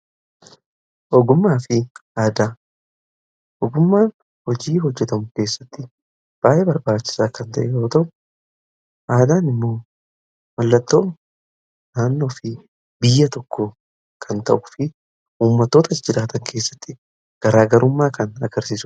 Ogummaa fi aadaa, ogummaan hojii hojjetamu keessatti baayyee barbaachisaa kan ta'e yoo ta'u aadaan immoo mallattoo naannoo fi biyya tokko kan ta'u fi ummatoota jiraatan keessatti garaagarummaa kan agarsiisudha.